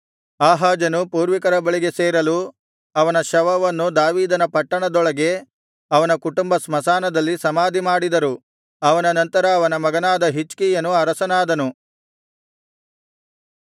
ಆಹಾಜನು ಪೂರ್ವಿಕರ ಬಳಿಗೆ ಸೇರಲು ಅವನ ಶವವನ್ನು ದಾವೀದನ ಪಟ್ಟಣದೊಳಗೆ ಅವನ ಕುಟುಂಬ ಸ್ಮಶಾನದಲ್ಲಿ ಸಮಾಧಿಮಾಡಿದರು ಅವನ ನಂತರ ಅವನ ಮಗನಾದ ಹಿಜ್ಕೀಯನು ಅರಸನಾದನು